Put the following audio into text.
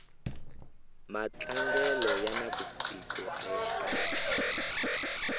matlangelo ya na vusiku aya aki